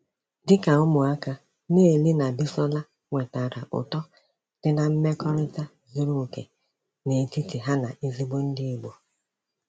Dị ka ụmụaka, Neil na Bisola nwetara ụtọ dị na mmekọrịta zuru okè n'etiti ha na ezigbo ndị Igbo.